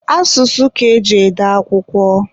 Asụsụ ka eji ede akwụkwọ.